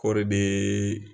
Hɔo re bɛ.